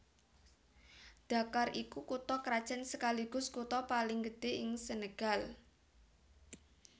Dakar iku kutha krajan sekaligus kutha paling gedhé ing Senegal